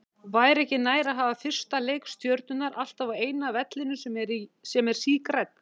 Væri ekki nær að hafa fyrsta leik Stjörnunnar alltaf á eina vellinum sem er sígrænn?